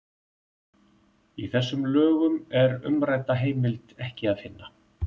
Í þessum lögum er umrædda heimild ekki að finna.